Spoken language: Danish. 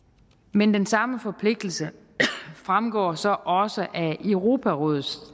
men den samme forpligtelse fremgår så også af europarådets